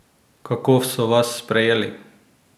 Kako so vas sprejeli?